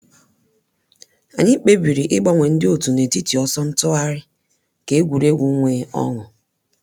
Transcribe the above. Anyị kpebiri ịgbanwe ndị òtù n’etiti ọsọ ntụgharị ka egwuregwu nwee ọṅụ.